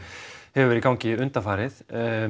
hefur verið í gangi undanfarið